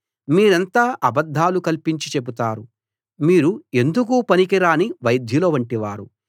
మీరంతా అబద్ధాలు కల్పించి చెబుతారు మీరు ఎందుకూ పనికిరాని వైద్యుల వంటివారు